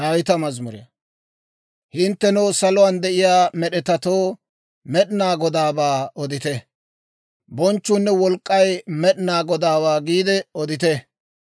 Hinttenoo saluwaan de'iyaa med'etatoo, Med'inaa Godaabaa odite; «Bonchchuunne wolk'k'ay Med'inaa Godaawaa» giide odite.